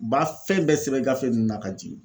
U b'a fɛn bɛɛ sɛbɛn gafe nunnu na ka jigin.